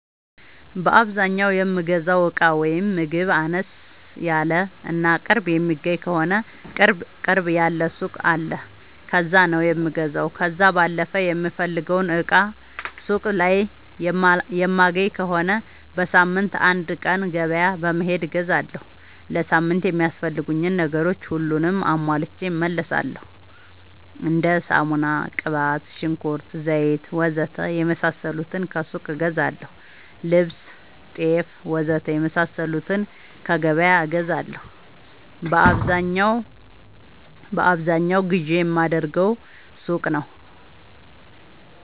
በአዛኛው የምገዛው እቃ ወይም ምግብ አነስ ያለ እና ቅርብ የሚገኝ ከሆነ ቅርብ ያለ ሱቅ አለ ከዛ ነው የምገዛው። ከዛ ባለፈ የምፈልገውን እቃ ሱቅ ላይ የማይገኝ ከሆነ በሳምንት አንድ ቀን ገበያ በመሄድ እገዛለሁ። ለሳምንት የሚያስፈልጉኝ ነገሮች ሁሉንም አሟልቼ እመለሣለሁ። እንደ ሳሙና፣ ቅባት፣ ሽንኩርት፣ ዘይት,,,,,,,,, ወዘተ የመሣሠሉትን ከሱቅ እገዛለሁ። ልብስ፣ ጤፍ,,,,,,,,, ወዘተ የመሣሠሉትን ከገበያ እገዛለሁ። በአብዛኛው ግዢ የማደርገው ሱቅ ነው።